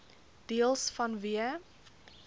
deels vanweë